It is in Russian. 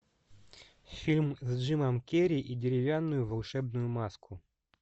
фильм с джимом керри и деревянную волшебную маску